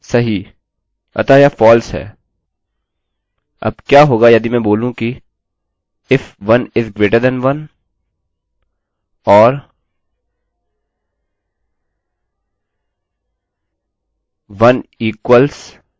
अब क्या होगा यदि मैं बोलूँ कि if 1 is greater than 1 or 1 equals 1if 1 1 से बड़ा है या 1 1 के बराबर है